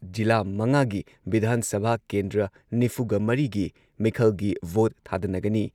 ꯖꯤꯂꯥ ꯃꯉꯥꯒꯤ ꯚꯤꯙꯥꯟ ꯁꯚꯥ ꯀꯦꯟꯗ꯭ꯔ ꯅꯤꯐꯨꯒ ꯃꯔꯤꯒꯤ ꯃꯤꯈꯜꯒꯤ ꯚꯣꯠ ꯊꯥꯗꯅꯒꯅꯤ